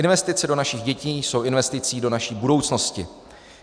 Investice do našich dětí jsou investicí do naší budoucnosti.